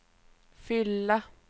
fylla